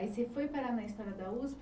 Aí você foi parar na história da Usp.